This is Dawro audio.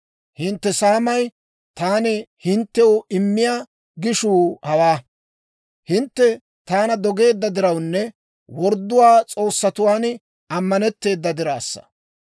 «Hintte saamay, taani hinttew immiyaa gishuu hawaa. Hintte taana dogeedda dirawunne worddo s'oossatuwaan ammanetteedda dirassa.